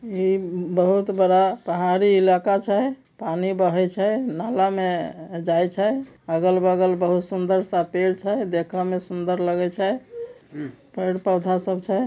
यह बहुत बड़ा पहाड़ी इलाका छे पानी बहै छे नाला में जाए छे अगल बगल बहुत सुंदर सा पेड़ छे देखन में सुंदर लगे छे पेड़ पौधा सब छे।